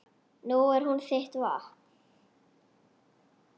Nú er hún þitt vopn.